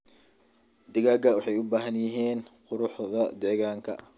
Digaagga waxay u baahan yihiin quruxda deegaanka.